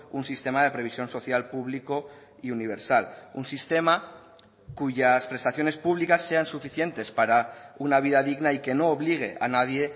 un sistema de previsión social público y universal un sistema cuyas prestaciones públicas sean suficientes para una vida digna y que no obligue a nadie